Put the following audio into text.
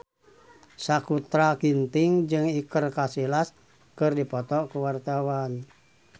Sakutra Ginting jeung Iker Casillas keur dipoto ku wartawan